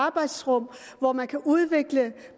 arbejdsrum hvor man kan udvikle